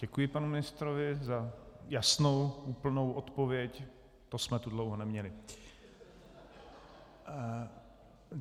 Děkuji panu ministrovi za jasnou, úplnou odpověď, to jsme tu dlouho neměli.